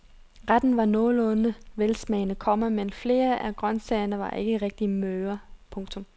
Retten var nogenlunde velsmagende, komma men flere af grøntsagerne var ikke rigtig møre. punktum